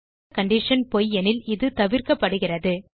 மேலுள்ள கண்டிஷன் பொய் எனில் இது தவிர்க்கப்படுகிறது